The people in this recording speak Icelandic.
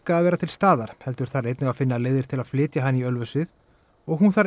að vera til staðar heldur þarf einnig að finna leiðir til að flytja hana í Ölfusið og hún þarf